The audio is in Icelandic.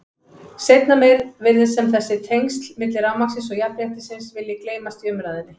Seinna meir virðist sem þessi tengsl milli rafmagnsins og jafnréttisins vilji gleymast í umræðunni.